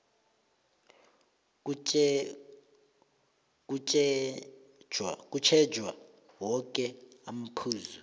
kutjhejwe woke amaphuzu